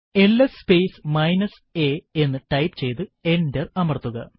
LS space minus a എന്ന് type ചെയ്തു enter അമർത്തുക